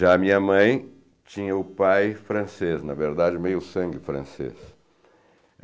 Já a minha mãe tinha o pai francês, na verdade, meio sangue francês.